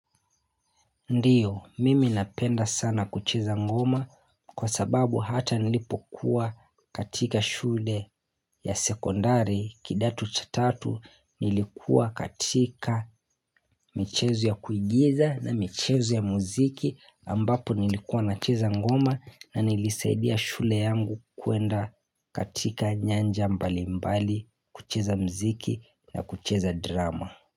Ndio, mimi napenda sana kucheza ngoma kwa sababu hata nilipokuwa katika shule ya sekondari kidato cha tatu nilikuwa katika michezo ya kuigiza na michezo ya muziki ambapo nilikuwa na cheza ngoma na nilisaidia shule yangu kuenda katika nyanja mbali mbali kucheza muziki na kucheza drama.